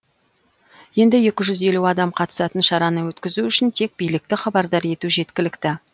енді екі жүз елу адам қатысатын шараны өткізу үшін тек билікті хабардар ету жеткілікті